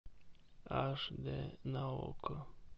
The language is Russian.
аш дэ на окко